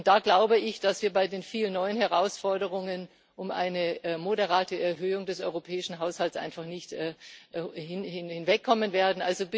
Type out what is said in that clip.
Und da glaube ich, dass wir bei den vielen neuen Herausforderungen um eine moderate Erhöhung des europäischen Haushalts einfach nicht herumkommen werden.